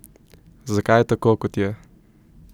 Zakaj je tako, kot je?